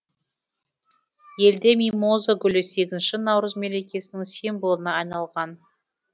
елде мимоза гүлі сегізінші наурыз мерекесінің символына айналған